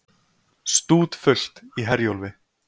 Stútfullt í Herjólfi